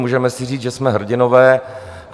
Můžeme si říct, že jsme hrdinové.